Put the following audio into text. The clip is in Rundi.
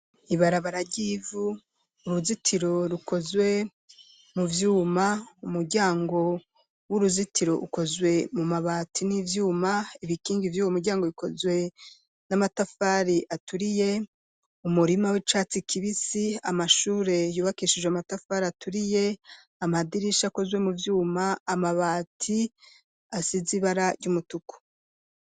Ibarabara ry'ivu, uruzitiro rukozwe mu vyuma, umuryango w'uruzitiro, ukozwe mu mabati, n'ivyuma, ibikingi vy’uwo muryango, bikozwe n'amatafari aturiye; umurima w'icatsi kibisi, amashure, yubakishijwe amatafari aturiye, amadirisha, akozwe mu vyuma, amabati, asize ibara ry'umutuku.